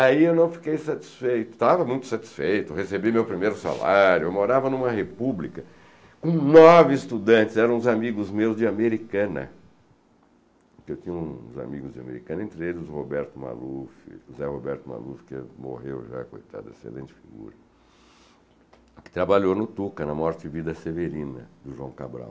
Aí eu não fiquei satisfeito, estava muito satisfeito, recebi meu primeiro salário, eu morava em uma república com nove estudantes, eram os amigos meus de Americana, porque eu tinha uns amigos de Americana, entre eles o Roberto Maluf, José Roberto Maluf, que morreu já, coitado, excelente figura, que trabalhou no Tuca, na Morte e Vida Severina, do João Cabral.